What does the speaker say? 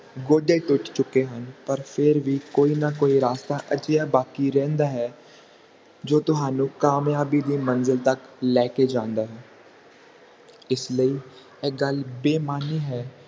ਗੋਡੇ ਟੁੱਟ ਚੁਕੇ ਹਨ ਪਰ ਫੇਰ ਵੀ ਕੋਈ ਨਾ ਕੋਈ ਰਾਸਤਾ ਅਜਿਹਾ ਬਾਕੀ ਰਹਿੰਦਾ ਹੈ ਜੋ ਤੁਹਾਨੂੰ ਕਾਮਯਾਬੀ ਦੀ ਮੰਜਿਲ ਤੱਕ ਲੈ ਕੇ ਜਾਂਦਾ ਹੈ ਇਸ ਲਈ ਇਹ ਗੱਲ ਬੇਮਾਨੀ ਹੈ